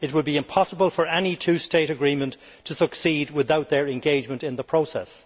It would be impossible for any two state agreement to succeed without their engagement in the process.